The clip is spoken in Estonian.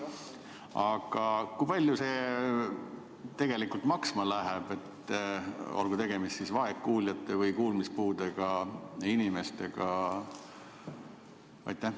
Aga kui palju see tegelikult maksma läheb, olgu tegemist siis vaegkuuljate või kuulmispuudega inimestega?